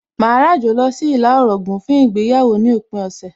Màá ràjò lọ sí ìlà Ọ̀ràngún fún ìgbéyàwó ní òpin ọ̀sẹ̀